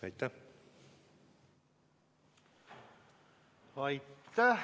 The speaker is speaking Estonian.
Aitäh!